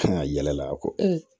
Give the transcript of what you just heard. Kan ka yɛlɛ la kɔ